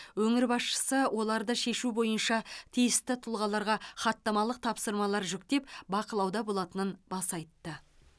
өңір басшысы оларды шешу бойынша тиісті тұлғаларға хаттамалық тапсырмалар жүктеп бақылауда болатынын баса айтты